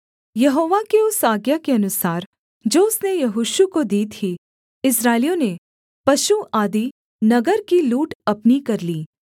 यहोवा की उस आज्ञा के अनुसार जो उसने यहोशू को दी थी इस्राएलियों ने पशु आदि नगर की लूट अपनी कर ली